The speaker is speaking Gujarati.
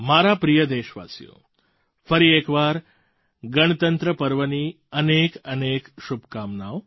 મારા પ્રિય દેશવાસીઓ ફરી એક વાર ગણતંત્ર પર્વની અનેકઅનેક શુભકામનાઓ